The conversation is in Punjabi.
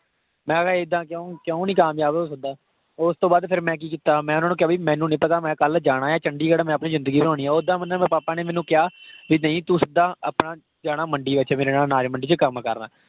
ਮੈਂ ਹਾਂ ਇੱਦਾਂ ਕਿਉਂ, ਕਿਉਂ ਨਹੀਂ ਕਾਮਯਾਬ ਹੋ ਸਕਦਾ? ਓਸ ਤੋਂ ਬਾਅਦ ਫਿਰ ਮੈਂ ਕਿ ਕੀਤਾ ਮੈ ਉਹਨਾਂ ਨੂੰ ਕਿਹਾ, ਬਈ ਮੈਨੂੰ ਨਹੀਂ ਪਤਾ ਮੈਂ ਕਲ ਜਾਣਾ ਆ ਚੰਡੀਗੜ੍ਹ। ਮੈਂ ਆਪਣੀ ਜ਼ਿੰਦਗੀ ਬਣਾਉਣੀ ਆ ਉੱਦਾਂ ਮਤਲਬ papa ਨੇ ਮੈਨੂੰ ਕਿਹਾ ਕਿ ਭੀ ਨਹੀਂ ਤੂੰ ਸਿੱਦਾ ਆਪਣਾ ਜਾਣਾ ਮੰਡੀ ਅੱਛਾ ਮੇਰੇ ਨਾਲ ਜਾਣਾ ਅਨਾਜ ਮੰਡੀ ਵਿੱਚ ਕੰਮ ਕਰਨਾ।